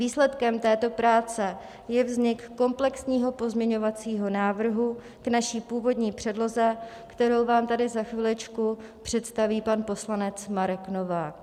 Výsledkem této práce je vznik komplexního pozměňovacího návrhu k naší původní předloze, kterou vám tady za chviličku představí pan poslanec Marek Novák.